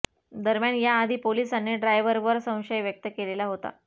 दरम्यान या आधी पोलिसांनी ड्रायव्हरवर संशय व्यक्त केलेला होता